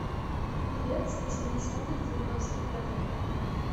певец восьмидесятых девяностых годов